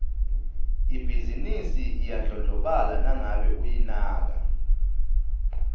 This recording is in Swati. ibhizinisi iyadlondlobala nangabe uyinaka